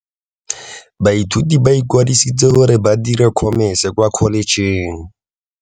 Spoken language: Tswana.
Baithuti ba ikwadisitse gore ba dire Khomese kwa Kholetšheng.